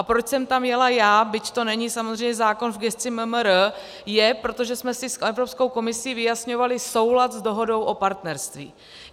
A proč jsem tam jela já, byť to není samozřejmě zákon v gesci MMR, je, protože jsme si s Evropskou komisí vyjasňovali soulad s dohodou o partnerství.